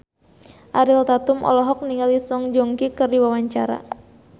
Ariel Tatum olohok ningali Song Joong Ki keur diwawancara